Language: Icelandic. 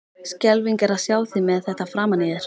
Skelfing er að sjá þig með þetta framan í þér!